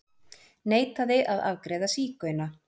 Neitaði að afgreiða sígauna